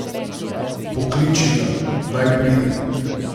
Pokliči ga, naj pride.